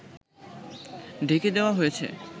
ঢেকে দেওয়া হয়েছে